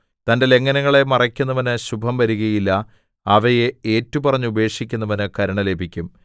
തന്റെ ലംഘനങ്ങളെ മറയ്ക്കുന്നവന് ശുഭം വരുകയില്ല അവയെ ഏറ്റുപറഞ്ഞു ഉപേക്ഷിക്കുന്നവന് കരുണ ലഭിക്കും